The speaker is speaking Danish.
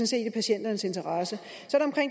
set i patienternes interesse så